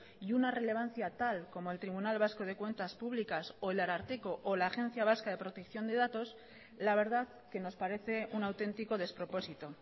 y una relevancia tal como el tribunal vasco de cuentas públicas o el ararteko o la agencia vasca de protección de datos la verdad que nos parece un auténtico despropósito